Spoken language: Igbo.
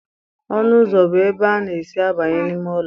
Ọnụ ụzọ bụ ebe a na-esi abanye n'ime ụlọ.